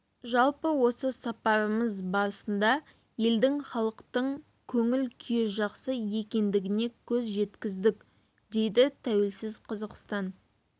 жалпы осы сапарымыз барысында елдің халықтың көңіл күйі жақсы екендігіне көз жеткіздік дейді тәуелсіз қазақстан